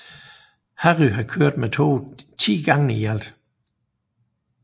Harry har kørt med toget ti gange i alt